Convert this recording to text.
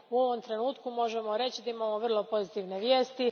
U ovom trenutku možemo reći da imamo vrlo pozitivne vijesti.